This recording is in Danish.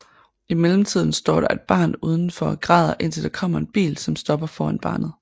I mellem tiden står der et barn uden for og græder indtil der kommer en bil som stopper foran barnet